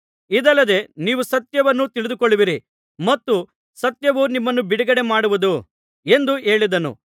ಇದಲ್ಲದೆ ನೀವು ಸತ್ಯವನ್ನು ತಿಳಿದುಕೊಳ್ಳುವಿರಿ ಮತ್ತು ಸತ್ಯವು ನಿಮ್ಮನ್ನು ಬಿಡುಗಡೆ ಮಾಡುವುದು ಎಂದು ಹೇಳಿದನು